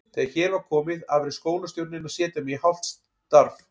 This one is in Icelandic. Þegar hér var komið afréð skólastjórnin að setja mig í hálft starf.